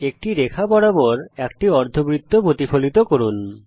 একটি রেখা বরাবর একটি অর্ধবৃত্ত প্রতিফলিত করুন